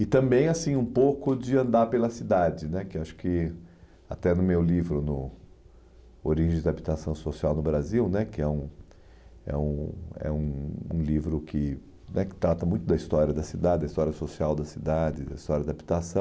E também assim um pouco de andar pela cidade né, que acho que até no meu livro, no Origens da Habitação Social no Brasil né, que é um é um é um um livro que né que trata muito da história da cidade, da história social da cidade, da história da habitação,